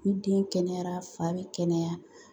Ni den kɛnɛyara fa bɛ kɛnɛya